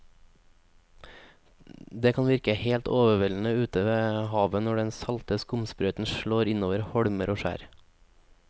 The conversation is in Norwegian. Det kan virke helt overveldende ute ved havet når den salte skumsprøyten slår innover holmer og skjær.